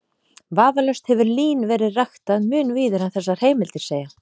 Vafalaust hefur lín verið ræktað mun víðar en þessar heimildir segja.